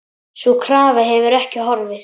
Sú krafa hefur ekki horfið.